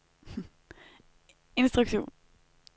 instruktion